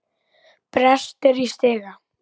Brestir í stiga.